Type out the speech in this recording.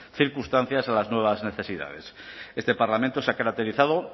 circunstancias a las nuevas necesidades este parlamento se ha caracterizado